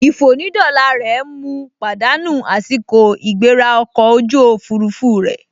Ìfònídọ́la rẹ̀ mu pàdánù àsìkò ìgbéra ọkọ̀ ojú òfurufú rẹ̀